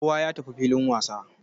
Kowa ya tafi filin wasa.